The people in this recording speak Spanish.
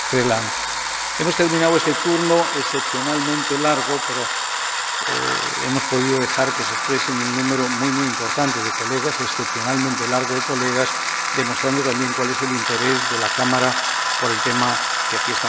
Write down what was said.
Hemos terminado este turno, excepcionalmente largo, pero hemos podido dejar que se expresara un número muy importante de colegas, excepcionalmente nutrido de colegas, demostrando también cuál es el interés de la Cámara por el tema que aquí estamos tratando.